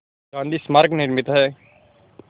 गांधी स्मारक निर्मित है